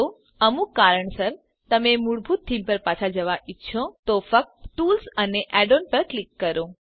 જો અમુક કારણસર તમે મૂળભૂત થીમ પર પાછા જવા ઈચ્છો તો ફક્ત ટૂલ્સ અને add ઓએનએસ પર ક્લિક કરો